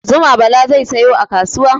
Zuma Bala zai sayo a kasuwa.